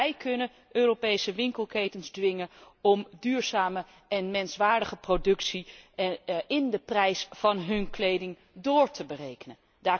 Wij kunnen Europese winkelketens dwingen om duurzame en menswaardige productie in de prijs van hun kleding door te berekenen.